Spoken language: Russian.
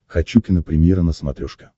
хочу кинопремьера на смотрешке